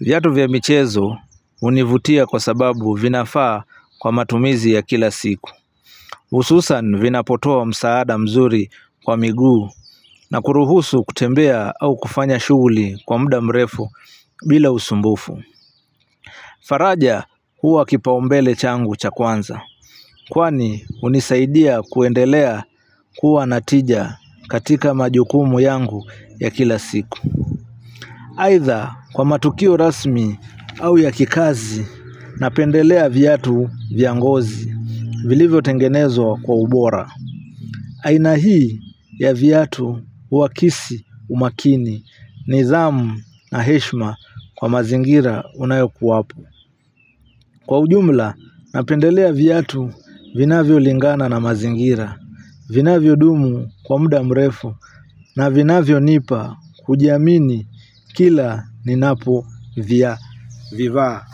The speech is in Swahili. VIatu vya michezo hunivutia kwa sababu vinafaa kwa matumizi ya kila siku hususan vinapotoa msaada mzuri kwa miguu na kuruhusu kutembea au kufanya shughuli kwa muda mrefu bila usumbufu faraja huwa kipaumbele changu cha kwanza kwani hunisaidia kuendelea kuwa na tija katika majukumu yangu ya kila siku. Aidha kwa matukio rasmi au ya kikazi napendelea viatu vya ngozi vilivyo tengenezwa kwa ubora aina hii ya viatu uwakisi umakini nidhamu na heshima kwa mazingira unayokuwapo kwa ujumla napendelea viatu vinavyolingana na mazingira. Vinavyodumu kwa muda mrefu na vinavyo nipa kujiamini kila ninapovivaa.